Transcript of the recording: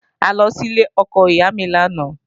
A lọ sílé ọkọ ìyá mi lánàá